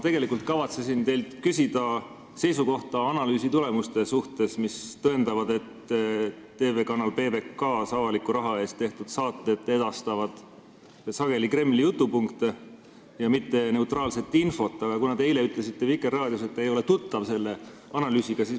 Ma tegelikult kavatsesin teilt küsida seisukohta analüüsi tulemuste suhtes, mis tõendavad, et TV-kanalis PBK avaliku raha eest tehtud saated edastavad sageli Kremli jutupunkte, mitte neutraalset infot, aga te eile ütlesite Vikerraadios, et te ei ole selle analüüsiga tuttav.